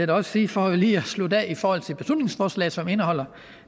også sige for lige at slutte af i forhold til beslutningsforslaget som indeholder